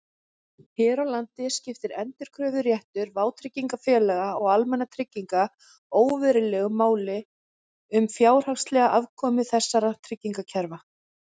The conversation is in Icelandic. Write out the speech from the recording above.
Hér á landi skiptir endurkröfuréttur vátryggingafélaga og almannatrygginga óverulegu máli um fjárhagslega afkomu þessara tryggingakerfa.